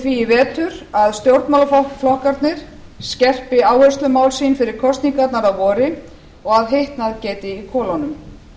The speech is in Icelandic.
því í vetur að stjórnmálaflokkarnir skerpi áherslumál sín fyrir kosningarnar að vori og að hitnað geti í kolunum